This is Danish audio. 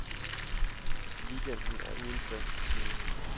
Weekenden er uden fast rutine.